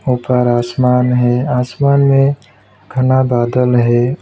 ऊपर आसमान है आसमान में घना बादल है।